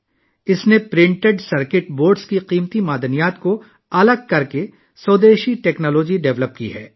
اس نے printed circuit boards سے قیمتی دھاتیں نکالنے کے لیے ایک دیسی ٹیکنالوجی تیار کی ہے